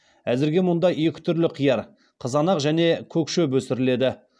әзірге мұнда екі түрлі қияр қызанақ және көк шөп өсіріледі